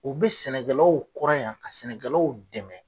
U bɛ sɛnɛlaw kɔrɔ yan ka sɛnɛkɛlaw dɛmɛ.